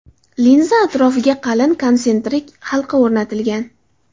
Linza atrofiga qalin konsentrik halqa o‘rnatilgan.